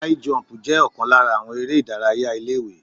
High jump jẹ́ ọ̀kan lára àwọn eré ìdárayá ilé ìwé.